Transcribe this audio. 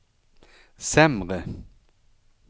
sämre